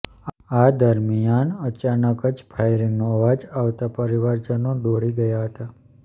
આ દરમિયાન અચાનક જ ફાયરિંગનો અવાજ આવતા પરિવારજનો દોડી ગયા હતા